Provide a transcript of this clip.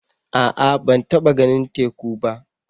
A'a ban taɓa ganin teku ba.